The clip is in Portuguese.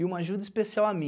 E uma ajuda especial a mim,